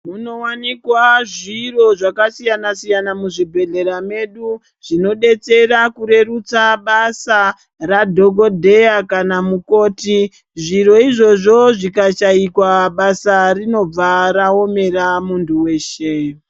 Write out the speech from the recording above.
Munowanikwa zviro zvakasiyana siyana muzvibhedhlera medu zvinodetsera kurerutsa basa radhokodheya kana mukoti. Zviro izvovo zvikashaikwa basa rinobva raomera muntu weshe.